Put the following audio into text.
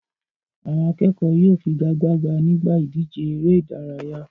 Àwọn akẹ́kọ̀ọ́ yóò figagbága nígbà ìdíje eré-idárayá.